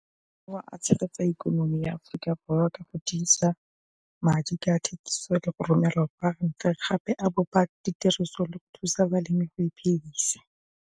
Tshegetsa ikonomi ya Aforika Borwa ka go tiisa madi ka thekiso le go romela gore gape a bopa ditiriso le go thusa balemi go iphidisa.